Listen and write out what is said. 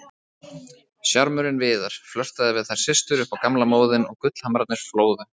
Sjarmörinn Viðar, flörtaði við þær systur upp á gamla móðinn og gullhamrarnir flóðu.